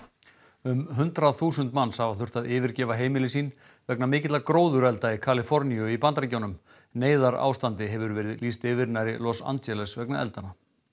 um hundrað þúsund manns hafa þurft að yfirgefa heimili sín vegna mikilla gróðurelda í Kaliforníu í Bandaríkjunum neyðarástandi hefur verið lýst yfir nærri Los Angeles vegna eldanna